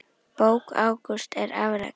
Bók Ágústs er afrek.